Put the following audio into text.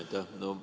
Aitäh!